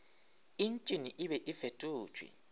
entšene e be e fetotšwe